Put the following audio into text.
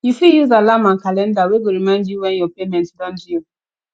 you fit use alarm and calender wey go remind you when your payment don due